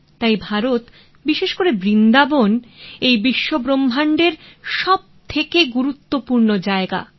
তাই ভারত বিশেষ করে বৃন্দাবন এই বিশ্বব্রহ্মাণ্ডের সবথেকে গুরুত্বপূর্ণ জায়গা